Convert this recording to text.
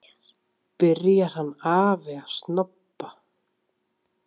Byrjar hann afi að snobba!